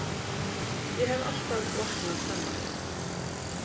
Ég hef alltaf vaknað snemma.